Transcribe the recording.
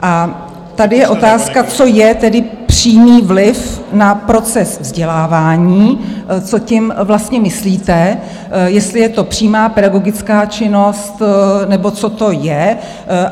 A tady je otázka, co je tedy přímý vliv na proces vzdělávání, co tím vlastně myslíte, jestli je to přímá pedagogická činnost, nebo co to je?